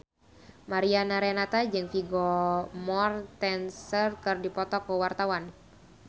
Mariana Renata jeung Vigo Mortensen keur dipoto ku wartawan